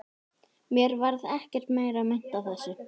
Mér varð ekkert meira meint af þessu.